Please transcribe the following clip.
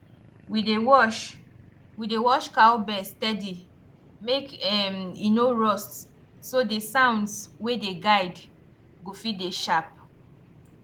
we dey wash we dey wash cowbells steady make um e no rust so the sounds wey dey guide go fit dey sharp